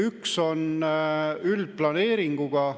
Üks võimalus on üldplaneeringuga.